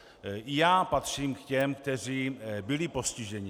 I já patřím k těm, kteří byli postiženi.